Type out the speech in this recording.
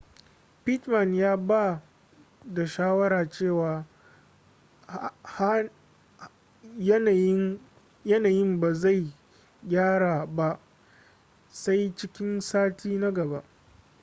pittman ya ba da shawara cewa yanayin ba zai gyaru ba sai cikin sati na gaba